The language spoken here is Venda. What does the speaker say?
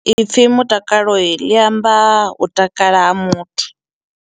Ipfi mutakaloi ḽi amba u takala ha muthu.